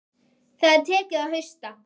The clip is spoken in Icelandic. Það er tekið að hausta.